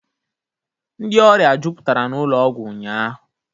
Ndị ọrịa jụpụtara n'ụlọ ọgwọ ụnyaahụ